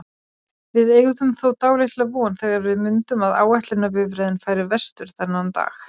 Við eygðum þó dálitla von þegar við mundum að áætlunarbifreiðin færi vestur þennan dag.